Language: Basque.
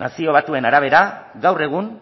nazio batuen arabera gaur egun